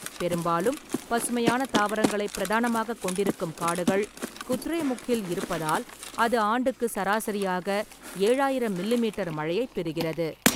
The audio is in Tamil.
பெரும்பாலும் பசுமையான தாவரங்களைப் பிரதானமாகக் கொண்டிருக்கும் காடுகள் குத்ரேமுக்கில் இருப்பதால் அது ஆண்டுக்கு சராசரியாக ஏழாயிரம் மில்லி மீட்டர் மழையைப் பெறுகிறது.